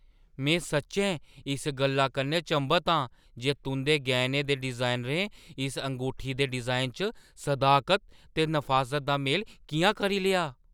में सच्चैं इस गल्ला कन्नै चंभत आं जे तुंʼदे गैह्‌नें दे डिजाइनरें इस ङूठी दे डिजाइनै च सदाकत ते नफासत दा मेल किʼयां करी लेआ ।